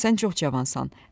Sən çox cavansan.